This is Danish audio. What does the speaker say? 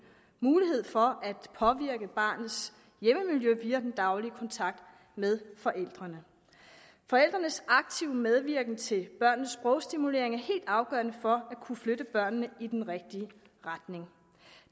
mulighed for at påvirke barnets hjemmemiljø via den daglige kontakt med forældrene forældrenes aktive medvirken til børnenes sprogstimulering er helt afgørende for at kunne flytte børnene i den rigtige retning